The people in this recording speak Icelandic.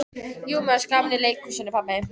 Jú mér fannst gaman í leikhúsinu pabbi.